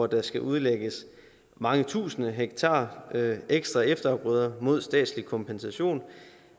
der skal udlægges mange tusinde hektar ekstra efterafgrøder mod statslig kompensation